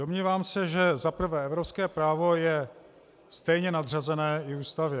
Domnívám se, že za prvé evropské právo je stejně nadřazené i Ústavě.